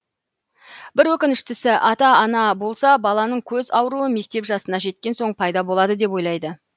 бір өкініштісі ата ана болса баланың көз ауруы мектеп жасына жеткен соң пайда болады деп ойлайды